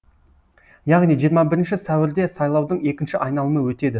яғни жиырма бірінші сәуірде сайлаудың екінші айналымы өтеді